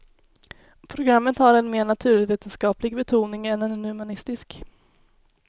Programmet har en mer naturvetenskaplig betoning än en humanistisk.